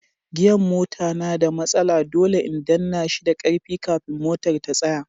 gia'n mota na da matsala, dole in danna shi da karfi kafin motar ta tsaya.